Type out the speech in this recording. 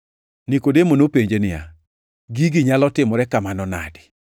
Nikodemo nopenje niya, “Gigo nyalo timore kamano nade?”